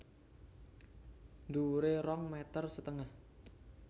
Dhuwuré rong meter setengah